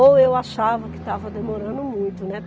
Ou eu achava que estava demorando muito, né?